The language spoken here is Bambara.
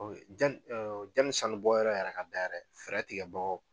jani jani sanu bɔ yɔrɔ yɛrɛ ka dayɛrɛ fɛɛrɛ tigɛ bagaw